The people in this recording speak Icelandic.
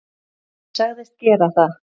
Ég sagðist gera það.